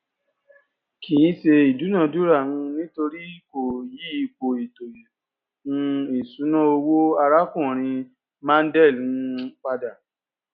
kì í ṣe ìdúnadúrà um nítorí kò yí ipò ètò um ìṣúná owó arákùnrin mondal um pada